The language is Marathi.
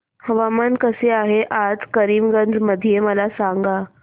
हवामान कसे आहे आज करीमगंज मध्ये मला सांगा